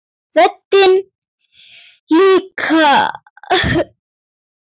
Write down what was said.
Röddin líka.